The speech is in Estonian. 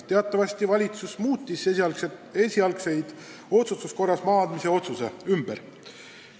Teatavasti valitsus tegi esialgse otsustuse korras langetatud maa andmise otsuse ümber.